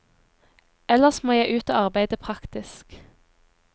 Ellers må jeg ut og arbeide praktisk.